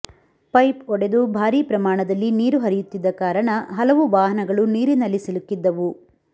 pipe ಒಡೆದು ಭಾರೀ ಪ್ರಮಾಣದಲ್ಲಿ ನೀರು ಹರಿಯುತ್ತಿದ್ದ ಕಾರಣ ಹಲವು ವಾಹನಗಳು ನೀರಿನಲ್ಲಿ ಸಿಲುಕ್ಕಿದ್ದವು